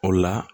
O la